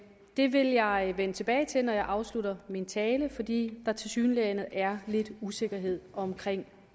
det vil jeg vende tilbage til når jeg afslutter min tale fordi der tilsyneladende er lidt usikkerhed om